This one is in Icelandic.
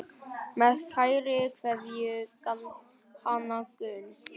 Með kærri kveðju, Hanna Gunn.